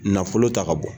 Nafolo ta ka bɔ